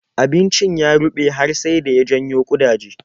Abincin ya ruɓe har sai da ya janyo ƙudaje.